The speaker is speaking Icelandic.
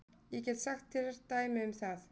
Ég get sagt þér dæmi um það.